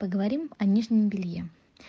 поговорим о нижнем белье